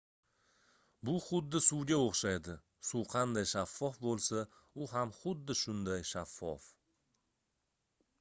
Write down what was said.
bu xuddi suvga oʻxshaydi suv qanday shaffof boʻlsa u ham xuddi shunday shaffof